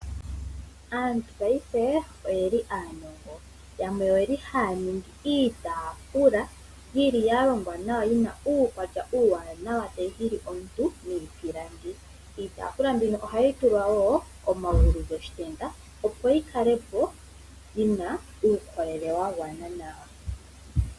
Aantu paife oyeli aanongo yamwe oyeli haya ningi iitaafula yili yalongwa nawa yina uukwatya uuwanawa tayi hili omuntu niipilangi. Iitaafula mbino ohayi tulwa woo omagulu goshitenda opo yi kale po yina uukolele wagwana nawa.